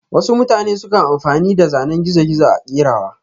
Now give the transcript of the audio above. wasu mutane sukan amfani da zanen gizo-gizo a kerawa.